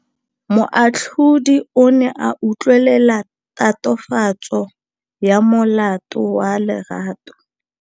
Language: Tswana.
Moatlhodi o ne a utlwelela tatofatsô ya molato wa Lerato.